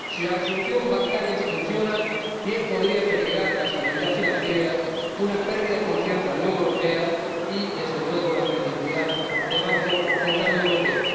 Si la resolución bancaria no funciona, bien podría peligrar la estabilidad financiera, con una pérdida de confianza en la Unión Europea, así como, desde luego, la credibilidad del Banco Central Europeo.